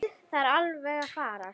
Það er alveg að farast.